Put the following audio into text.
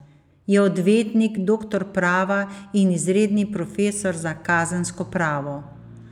Je odvetnik, doktor prava in izredni profesor za kazensko pravo.